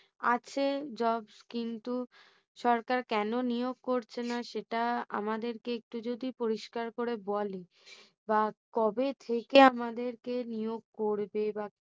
আছে jobs কিন্তু সরকার কেন নিয়োগ করছে না সেটা আমাদের কে একটু যদি পরিষ্কার করে বলে বা কবে থেকে আমাদেরকে নিয়োগ করবে বা কিছু